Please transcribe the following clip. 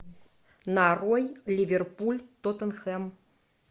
нарой ливерпуль тоттенхэм